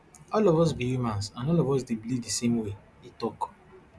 all of us be humans and all of us dey bleed di same way e tok